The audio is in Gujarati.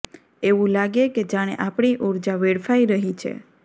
એવું લાગે કે જાણે આપણી ઊર્જા વેડફાઇ રહી છે